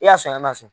I y'a sɔn a ma sɔn